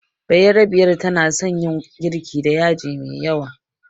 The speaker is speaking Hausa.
Bayerabiyar tana son yin girki da yaji mai yawa